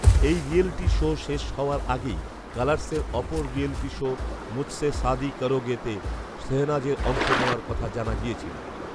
এই reality show শেষ হওয়ার আগেই কালার্সের অপর রিয়ালিটি শো মুঝসে শাদি করোগেতে শেহনাজের অংশ নেওয়ার কথা জানা গিয়েছিল